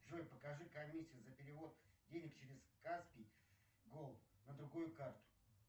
джой покажи комиссию за перевод денег через каспи голд на другую карту